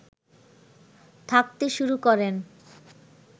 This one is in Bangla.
থাকতে শুরু করেন